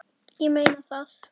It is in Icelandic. Ég meina það.